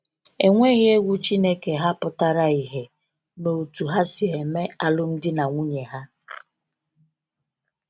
Enweghi egwu Chineke ha pụtara ìhè n’otú ha si eme alụmdi na nwunye ha.